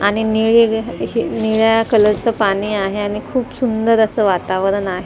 आणि निळेग असे निळ्या कलरचं पाणी आहे आणि खूप सुंदर असं वातावरण आहे.